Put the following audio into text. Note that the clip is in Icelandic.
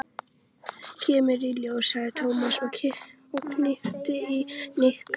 Kemur í ljós, sagði Tómas og hnippti í Nikka.